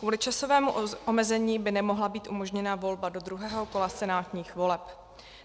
Kvůli časovému omezení by nemohla být umožněna volba do druhého kola senátních voleb.